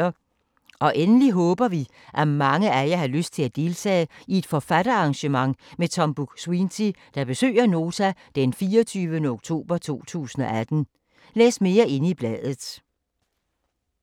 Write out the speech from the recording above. Endelig håber vi, at mange af jer har lyst til at deltage i et forfatterarrangement med Tom Buk-Swienty, der besøger Nota den 24. oktober 2018. Læs mere i bladet.